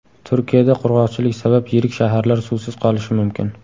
Turkiyada qurg‘oqchilik sabab yirik shaharlar suvsiz qolishi mumkin .